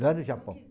Lá no Japão.